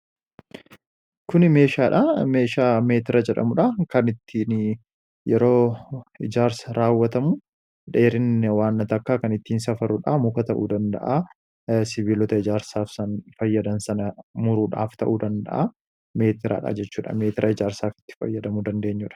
Kuni meeshaadha. Meeshaa meetira jedhamuudha kan ittiin yeroo ijaarsa raawwatamu dheerinni waan takkaa kan ittiin safaruudha. Muka ta'uu danda'aa siviiloota ijaarsaaf fayyadan sana muruudhaf ta'uu danda'u meetiraadha. Jechuudha meetira ijaarsaaf itti fayyadamu dandeenyuudha.